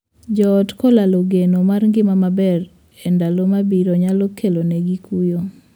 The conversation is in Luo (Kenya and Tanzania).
Joot kolalo geno mar ngima maber e ndalo mabiro nyalo kelonegi kuyo.